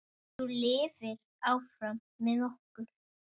Þú lifir áfram með okkur.